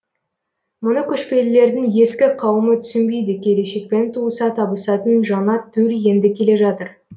мұны көшпелілердің ескі қауымы түсінбейді келешекпен туыса табысатын жаңа төл енді келе жатыр